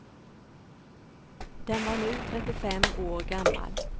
Den var nu trettiofem år gammal.